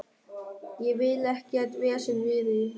Ég vil ekkert vesen við þig.